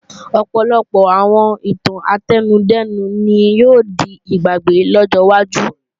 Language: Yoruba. Ọ̀pọ̀lọpọ̀ àwọn ìtàn átẹnudẹ́nu ni yóò di ìgbàgbé lọ́jọ́ iwájú